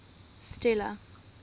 stella